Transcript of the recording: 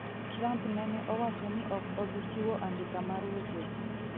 Trump nene owacho ni ok obi chiwo andika mar wechego